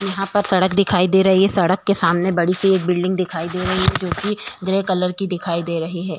यहाँ पर सड़क दिखाई दे रही है। सड़क के सामने एक बड़ी सी बिल्डिंग दिखाई दे रही है जो की ग्रे कलर की है।